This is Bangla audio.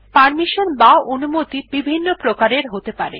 পারমিশন বা অনুমতি বিভিন্ন প্রকারের হতে পারে